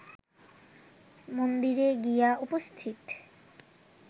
মন্দিরে গিয়া উপস্থিত